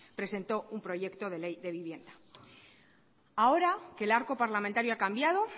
presentó un proyecto de ley de vivienda ahora que el arco parlamentario ha cambiado